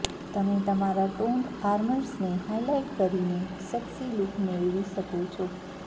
તમે તમારાં ટોન્ડ આર્મ્સને હાઇલાઇટ કરીને સેક્સી લુક મેળવી શકો છો